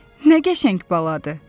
Nə qəşəng baladır!